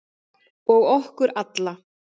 Og okkur alla.